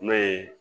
N'o ye